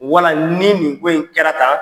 Wala ni nin ko in kɛra tan